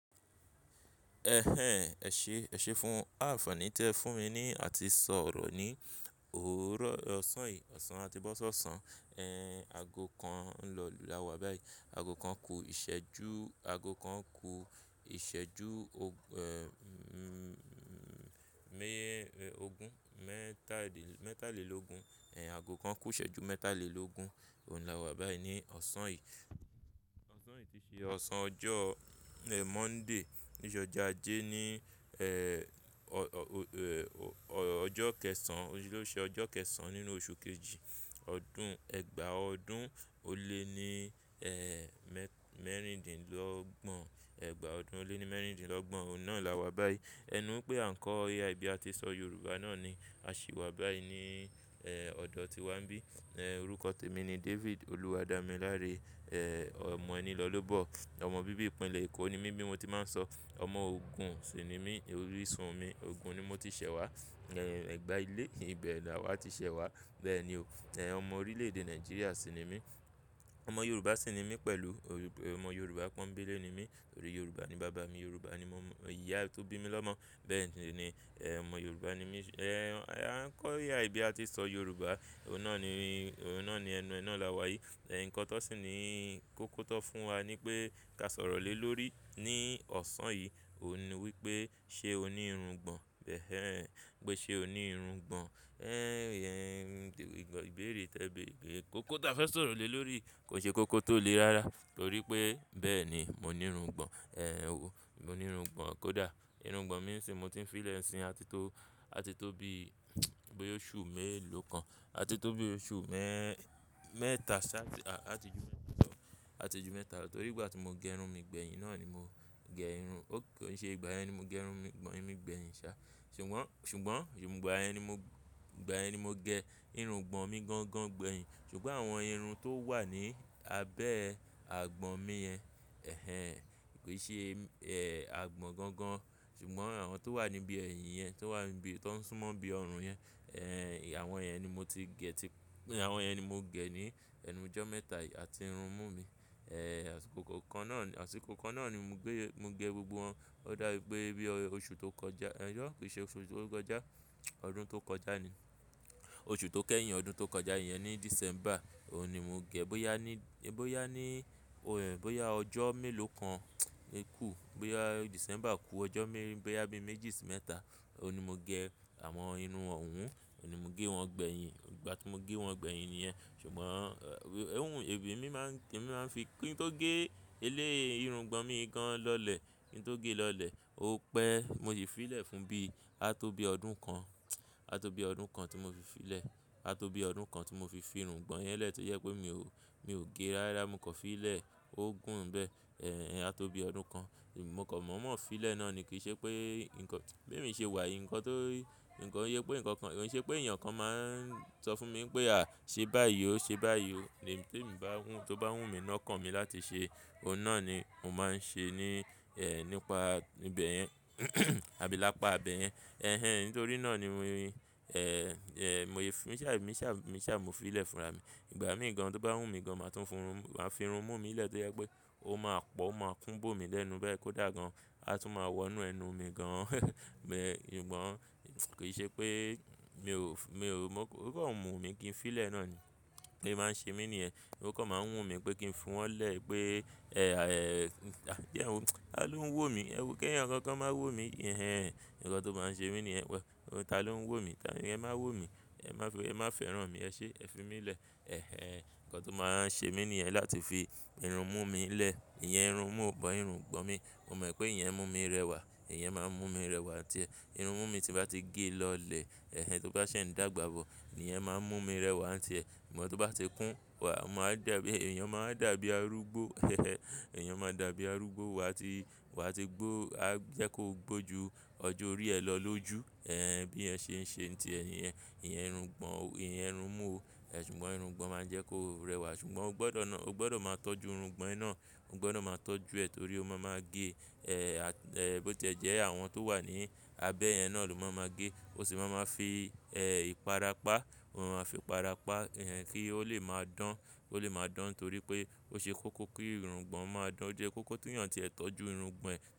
Ẹhẹ̀n, ẹṣe, ẹṣe fún àfààní tí ẹ fún mi ni àti sọ̀rọ̀ ni òórọ̀ ọ̀sán yìí, ọ̀sán àti bọ̀ sọ ṣán, ẹ̀n, ago kan ń lọ lu làwà báyìí. Ago kan ku ìṣẹ́jú, ago kan ku ìṣẹ́jú, ẹ́, ḿ, mé ogún mẹ́tàlélógún, ẹ̀n, ago kan kú ìṣẹ́jú mẹ́tàlélógún, òun làwà báyìí ní ọ̀sán yìí. Ọ̀sán yìí ti ṣe ọ̀sán ọjọ́, ẹ́, Monday, ti ṣe ọjọ́ ajé ní, ẹ́, ọ̀, ọ́, ọjọ́ kẹsàn, òní lo ṣe ọjọ́ kẹsàn nínú oṣù kejì ọdún, ẹgbàá ọdún ó lé ní, ẹ́, mẹ́, mẹ́rìndínlọ́gbọ̀n. Ẹgbàá ọdún ó lé ní mẹ́rìndínlọ́gbọ̀n, òun náà làwà báyìí. Ẹ nu pé àńkọ̀ AI bí a ti sọ Yorùbá náà ni, a ṣì wà báyìí ní, ẹ́, ọ̀dọ̀ tí wa ń bí. Ẹ̀, orúkọ tẹmi ni David, olúwadamíláre, ẹ́, ọmọ ẹnilọlóbọ̀. Ọmọ bíbí ìpínlẹ̀ Èkó ni mí bí mo ti máa ń sọ. Ọmọ Ògùn sì ni mí, orísun mi, Ògùn ni mo ti ṣẹ̀ wá. Ẹ̀, ẹgbàá ilé ibẹ̀ làwà ti ṣẹ̀ wá. Bẹ́ẹ̀ ni o. Ẹ̀n, ọmọ orílẹ̀ èdè Nàìjíríà sì ni mí. Ọmọ Yorùbá sì ni mí pẹ̀lú, ọmọ Yorùbá pọ́nńbélé ni mí. Torí Yorùbá ni bàbá mi, Yorùbá ni mo, ìyá tó bí mi lọ́mọ. Bẹ́ẹ̀ si ni, ẹ́, ọmọ Yorùbá ni mí. Ẹ̀, àńkọ̀ AI bí a ti ṣọ Yorùbá, òun náà ni, òun náà ni ẹnu, ẹ ná làwà yìí. Ẹ̀n, nǹkan tó sì ni kókó tán fún wa ni pé ká sọ̀rọ̀ lé lórí ní ọ̀sán yìí, òun ni wípé ṣe o ní irungbọn? Ẹhn ẹhn, pé ṣe o ní irungbọn? Ẹ́, ẹ̀, ìbéèrè tẹ bí, bí kòkò tó fẹ́ sọ̀rọ̀ lé lórí kò ṣe kòkò tó lé rárá torí pé bẹ́ẹ̀ ni, mo ní irungbọn. Ẹ̀, mo ní irungbọn kódà. Irungbọn mi sìn mo ti ń fi í lẹ̀ sín àti tó, àti tó bí, boya oṣu mélòó kan, àti tó bí oṣù mẹ́, mẹ́tà sáà, àti ju mẹ́tà lọ, àti ju mẹ́tà lọ torí ìgbà tí mo gẹ irun mi gbẹ̀yìn náà ni mo gẹ irun. Ó kò ṣe ìgbà yẹn ni mo gẹ irun mi gbẹ̀yìn ṣá. Ṣùgbọ́n, ìgbà yẹn ni mo, ìgbà yẹn ni mo gẹ irungbọn mi gangan gbẹ̀yìn. Ṣùgbọ́n àwọn irun tó wà ní abẹ́ àgbọ̀n mi yẹn, ẹhẹ̀n, kò i ṣe, ẹ́, àgbọ̀n gangan. Ṣùgbọ́n àwọn tó wà níbí ẹ̀yìn yẹn, tó wà níbí, tó ń súnmọ́ bí ọrùn yẹn, ẹ́, àwọn yẹn ni mo ti gẹ̀ ti, àwọn yẹn ni mo gẹ̀ ní ẹnu ijọ́ mẹ́tà yi àti irun mú mi. Ẹ́, àsìkò kan náà, àsìkò kan náà ni mo gbé, mo gẹ gbogbo wọn. Ó dàbí pe bí oṣù tó kọjá, ẹ́ jọ́, kò ṣe oṣù tó kọjá, ọdún tó kọjá ni. Oṣù tó kẹ́yìn ọdún tó kọjá, ìyẹn ni December, òun ni mo gẹ. Bó yá ní, bó yá ní, òun, bó yá ọjọ́ mélòó kan, e ku, bó yá December ku ọjọ́ mee, bó yá bí méjì sí mẹ́tà, òun ni mo gẹ àwọn irun ọhun, òun ni mo ge wọn gbẹ̀yìn. Ìgbà tí mo ge wọn gbẹ̀yìn níyẹn. Ṣùgbọ́n, ẹ́, hunhun, èbí mi máa ń kí n máa fi, kí n tó gé elé irungbọn mi gan lọ́lẹ̀, kí n tó gé lọ́lẹ̀, ó pẹ́, mo sì fi í lẹ̀ fún bí a tó bí ọdún kan, a tó bí ọdún kan tí mo fi fi í lẹ̀, a tó bí ọdún kan tí mo fi fi irungbọn yẹn lẹ̀ tó yẹ pé mi ò, mi ò gé rárá, mo kan fi í lẹ̀, ó gùn ń bẹ́ẹ̀. Ẹ̀, a tó bí ọdún kan, mo kàn mọ̀ mọ̀ fi lẹ̀ náà ni. Ki ṣe pé nǹkan, bí èmi ṣe wà yìí, nǹkan tó, nǹkan ye pé nǹkan kan, kòun ṣe pé ènìyàn kan máa ń sọ fún mi pé à, ṣe báyìí o, ṣe báyìí o. Tí èmi bá wùn, tó bá wù mí náà kàn mi láti ṣe, òun náà ni mo máa ń ṣe ní, ẹ́, nípa ibẹ̀ yẹn àbí lápa ibẹ̀ yẹn. Ẹhẹ̀n, nítorí náà ni mi, ẹ́, ẹ́, mo fi, mi sá, mi sá, mi sá mo fi í lẹ̀ fúnra mi. Ìgbà míì gan, tó bá wù mí gan, màá tún fi irun mú mi lẹ̀ tó yẹ pé ó máa pọ̀, ó máa kún bo mi lẹ́nu bẹ́ẹ̀ kó dà gan, a tún máa wọnú ẹnu mi gan. Ṣùgbọ́n ki ṣe pé mi ò, mi ò, ó kàn mú mi kí n fi í lẹ̀ náà ni. Ó máa ń ṣe mí ní ẹ̀. Ó kàn máa ń wùn mí pé kí n fún wọn lẹ̀ pé, ẹ́, ẹ́, bí òun, ta ló ń wò mí? Ẹwo ki èèyàn kan kan máa wò mí. Ẹhẹ̀n, nǹkan tó máa ń ṣe mí ní yẹn. Ta ló ń wò mí? Ẹ máa wò mí, ẹ má fẹ́, ẹ má fẹ́ràn mí, ẹ ṣé, ẹ fi mí lẹ̀. Ẹhẹ̀n, nǹkan tó máa ń ṣe mí ní yẹn láti fi irun mú mi lẹ̀. Ìyẹn irun mú but irungbọn mi. Mo mọ̀ pé ìyẹn mú mi rẹwà, ìyẹn máa ń mú mi rẹwà nti ẹ́, irun mú mi tí bá ti gé lọ́lẹ̀, ẹhẹ̀n, tó bá ṣẹ̀ n dàgbà bọ̀, ìyẹn máa ń mú mi rẹwà àti ẹ́. Ṣùgbọ́n tó bá ti kún, wà, máa dàbí, ènìyàn máa dàbí arúgbó. Èèyàn máa dàbí arúgbó wà tí, wà tí gbó, a jẹ́ kó gbó ju ọjọ́ orí ẹ lọ ló ju. Ẹ̀, bí ẹ ṣe ń ṣe ti ẹ nìyẹn, ìyẹn irungbọn, ìyẹn irun mú o. Ẹ ṣùgbọ́n irungbọn máa ń jẹ́ kó rẹwà. Ṣùgbọ́n o gbọdọ̀ ná, o gbọdọ̀ máa tọ́jú irungbọn iná, o gbọdọ̀ máa tọ́jú ẹ torí ó máa ma gé. Ẹ́, bó ti ẹ jẹ́ àwọn tó wà ní abẹ́ yẹn náà ló máa ma gé. Ó sì máa ma fi, ẹ́, ìpara pá. Ó máa fi para pá, ìyẹn kí ó lè máa dán, ó lè máa dán torí pé ó ṣe kókó kí irungbọn máa dán. Ó jẹ́ kókó téèyàn tí ẹ tọ́jú irungbọn ẹ.